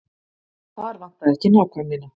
Þar vantaði ekki nákvæmnina.